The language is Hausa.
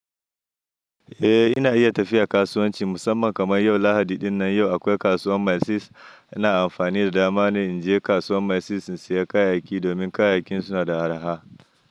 Eh, ina iya tafiya kasuwanci musamman kaman yau, Lahadi ɗinnan yau akwai kasuwan Maizis. Ina amfani da dama ne in je kasuwan Maizis in sayi kayayyaki domin kayayakin suna da arha.